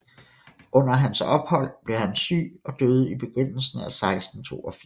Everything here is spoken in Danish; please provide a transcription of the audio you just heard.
Under hans ophold blev han syg og døde i begyndelsen af 1682